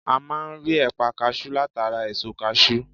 A máa n rí ẹ̀pà kasú látara èso kasú